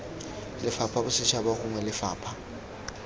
lefapha la bosetšhaba gongwe lefapha